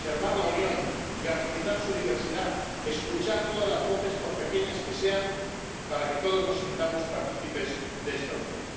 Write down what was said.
Hay que preservar la Unión, garantizar su diversidad, escuchar todas las voces, por pequeñas que sean, para que todos nos sintamos partícipes de esta Unión.